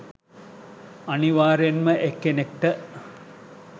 අනිවාර්යෙන් ම එක් කෙනෙක්ට